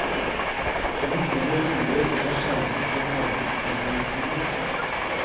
Vi trenger boliger som er skjermet for markedsmekanismene.